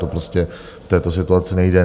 To prostě v této situaci nejde.